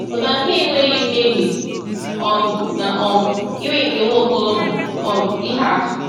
Ụda nke enweghị mmehie um na um iwe nke Nwaokolo bụ um ihe atụ.